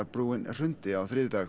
brúin hrundi á þriðjudag